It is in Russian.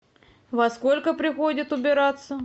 во сколько приходят убираться